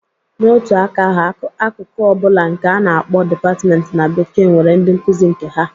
Na otu aka ahu, akụkụ ọ bụla nke a na-akpọ 'department' na bekee, nwere ndị nkuzi nke ha.